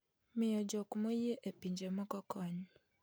miyo jok moyie e pinje moko kony